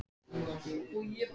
Auðvitað er ég viss um það.